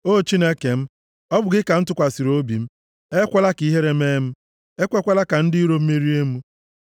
O Chineke m, ọ bụ gị ka m tụkwasịrị obi m. Ekwela ka ihere mee m, ekwekwala ka ndị iro m merie m.